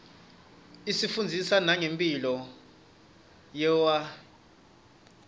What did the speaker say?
is ifundzisa mange mphilo yetrwane